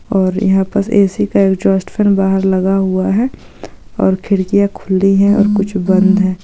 और यहा पर ऐ सी का टोस्टर बहार लग हुवा है और खिडकिय खुली हें और कुछ बंध है।